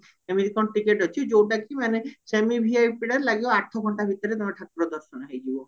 ଏମିତି କଣ ଟିକେଟ ଅଛି ଯଉଟା କି ମାନେ semi VIPଟା ଲାଗିବା ଆଠ ଘଣ୍ଟା ଭିତରେ ଠାକୁର ଦର୍ଶନ ହେଇଯିବ